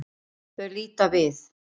Þau líta við.